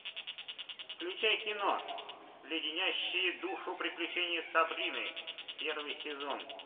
включай кино леденящие душу приключения сабрины первый сезон